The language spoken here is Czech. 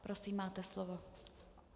Prosím, máte slovo.